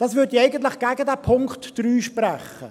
Das würde ja eigentlich gegen den Punkt 3 sprechen.